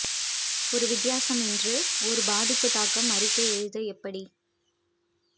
ஒரு வித்தியாசம் என்று ஒரு பாதிப்பு தாக்கம் அறிக்கை எழுத எப்படி